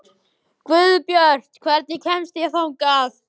Guðbjört, hvernig kemst ég þangað?